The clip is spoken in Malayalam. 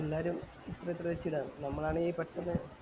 എല്ലാരും ഇത്ര ഇത്ര വച്ച് ഇടാന്ന് നമ്മളെണീ പെട്ടന്ന്